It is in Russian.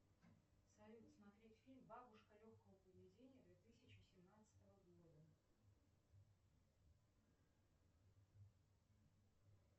салют смотреть фильм бабушка легкого поведения две тысячи семнадцатого года